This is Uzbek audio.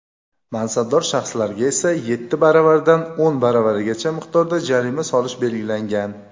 mansabdor shaxslarga esa — yetti baravaridan o‘n baravarigacha miqdorda jarima solish belgilangan.